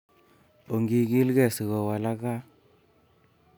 Ongikil kee sikowalak gaa